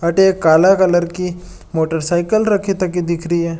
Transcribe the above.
अठे एक काला कलर की मोटरसाइकिल रखी तकी दिखरी है।